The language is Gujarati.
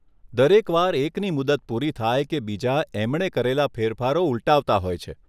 દરેક વાર એકની મુદત પૂરી થાય કે બીજા એમણે કરેલાં ફેરફારો ઉલટાવતા હોય છે.